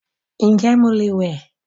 Ǹjẹ́ mo lè wẹ́